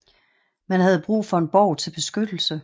Man havde brug for en borg til beskyttelse